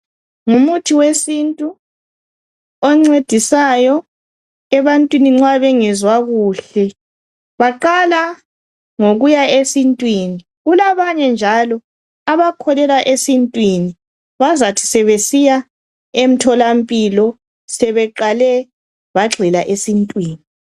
Ngumuthi wesintu oncedisayo ebantwini nxa bengezwa kuhle. Baqala ngokuya esintwini. Kulabanye njalo abakholelwa esintwini. Bazathi sebesiya emtholampilo sebeqale bagxila esintwini.